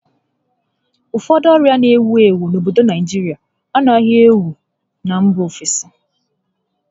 Ụfọdụ ọrịa n'ewu ewu n'obodo Naijirịa anaghị ewu na mba ofesi